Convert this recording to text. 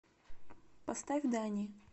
поставь дани